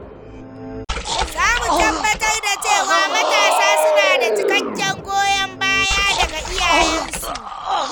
Za mu tabbatar da cewa matasa suna da cikakken goyon baya daga iyayensu.